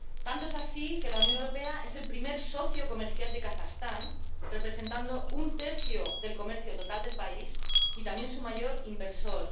Tanto es así que la Unión Europea es el primer socio comercial de Kazajistán —representando un tercio del comercio total del país— y también su mayor inversor.